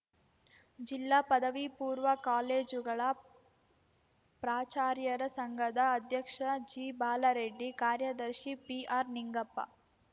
ಜಿಲ್ಲಾ ಪದವಿಪೂರ್ವ ಕಾಲೇಜುಗಳ ಪ್ರಾಚಾರ್ಯರ ಸಂಘದ ಅಧ್ಯಕ್ಷ ಜಿಬಾಲರೆಡ್ಡಿ ಕಾರ್ಯದರ್ಶಿ ಪಿಆರ್‌ನಿಂಗಪ್ಪ